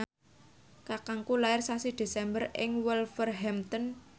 kakangku lair sasi Desember ing Wolverhampton